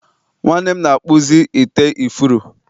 nwanne m na-akpụzi ite ifuru